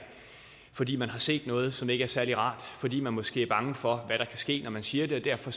fordi man har set noget som ikke er særlig rart fordi man måske er bange for hvad der kan ske når man siger det og derfor